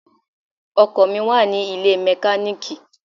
Ọkọ̀ mi wà nílé mẹkáníìkì.